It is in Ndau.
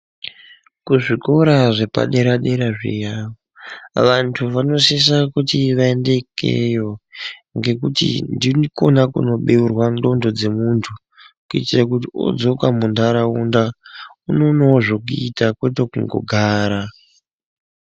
Kuzvikora zvepadera-dera zviya. Vantu vanosisa kuti vaende ikeyo, ngekuti ndikona kunobeurwa ndxondo dzemuntu, kuitire kuti odzoka muntaraunda unoonawo zvekuita kwete kungogara.